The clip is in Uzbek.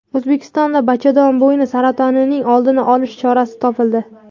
O‘zbekistonda bachadon bo‘yni saratonining oldini olish chorasi topildi.